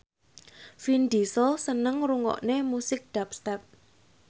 Vin Diesel seneng ngrungokne musik dubstep